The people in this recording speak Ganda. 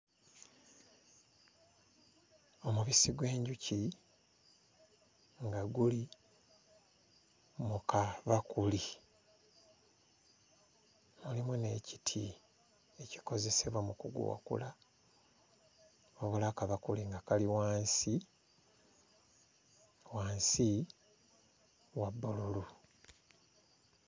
Omubisi gw'enjuki nga guli mu kabakuli mulimu n'ekiti ekikozesebwa mu kuguwakula wabula akabakuli nga kali wansi wansi wa bbululu.